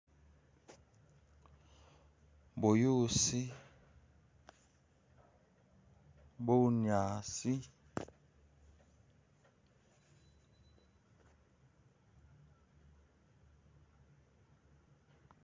Buyuusi, bunyaasi